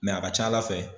Mɛ a ka ca ala fɛ